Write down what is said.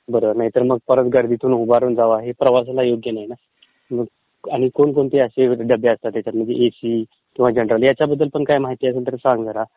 बर, नाहीतर मग ते परत गर्दीतून उभा राहून जावा आणि प्रवासाला योग्य नाही ना. आणि कोणकोणते डबे असतात एसी, सेकंड ह्याच्याबद्दलपण माहिती असेल तर सांग जरा